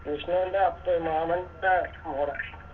വിഷ്ണുൻറെ അപ്പേ മാമൻറെ മോടെ